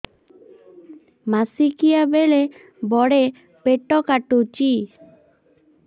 ମାସିକିଆ ବେଳେ ବଡେ ପେଟ କାଟୁଚି